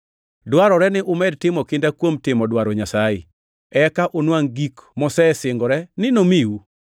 Dwarore ni umed timo kinda kuom timo dwaro Nyasaye, eka unwangʼ gik mosesingore ni nomiu.